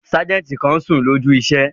Sájẹ̀ntì kan n sùn lójú iṣẹ́